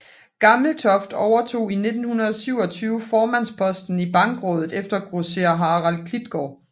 Gammeltoft overtog i 1927 formandsposten i Bankrådet efter grosserer Harald Klitgaard